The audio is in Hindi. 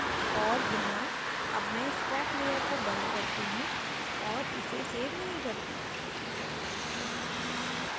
और यहाँ अब मैं scrap layer को and करती हूँ और इसे सेव नहीं करती